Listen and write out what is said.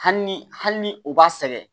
Hali ni hali ni o b'a sɛgɛn